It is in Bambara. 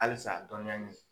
Halisa dɔnniya ɲini.